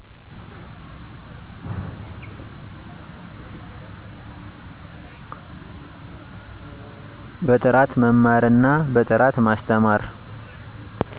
በጥራት በመማር እና በጥራት በማስተማር